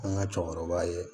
An ka cɛkɔrɔba ye